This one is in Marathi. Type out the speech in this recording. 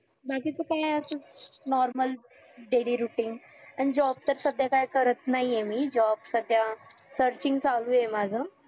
बाकीचं काय असच normal daily routine आणि job तर सध्या काय करत नाही आहे मी job सध्या searching चालु हाय माझं